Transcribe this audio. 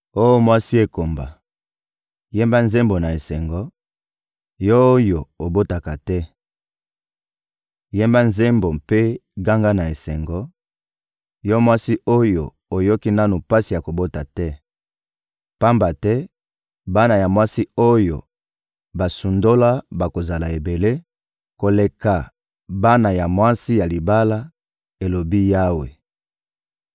Oh mwasi ekomba, yemba nzembo na esengo, yo oyo obotaka te! Yemba nzembo mpe ganga na esengo, yo mwasi oyo oyoki nanu pasi ya kobota te! Pamba te bana ya mwasi oyo basundola bakozala ebele koleka bana ya mwasi ya libala, elobi Yawe.